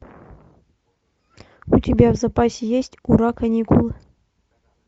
у тебя в запасе есть ура каникулы